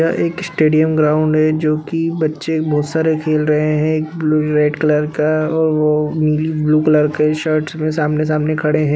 यह एक stadium ground है जोकि बच्चे बहुत सारे खेल रहे हैं एक ब्लू रेड कलर का और वो नीली ब्लू कलर का शर्ट में सामने सामने खड़े हैं ।